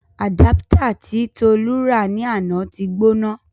Àdápítà tí Tolu rà ní àná ti gbóná.